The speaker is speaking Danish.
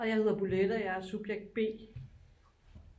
og jeg hedder bolette og jeg er subjekt b